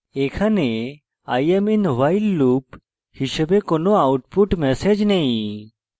এখানে i am in while loop হিসাবে কোনো output ম্যাসেজ নেই